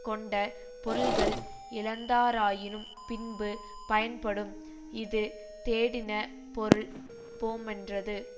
கொண்ட பொருள்கள் இழந்தாராயினும் பின்பு பயன்படும் இது தேடினபொருள் போமென்றது